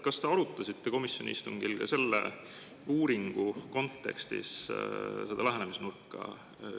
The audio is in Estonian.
Kas te arutasite komisjoni istungil ka seda lähenemisnurka selle uuringu kontekstis?